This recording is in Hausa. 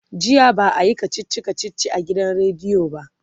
jiya ba'a Yi kachichi kachichi a gidan rediyo ba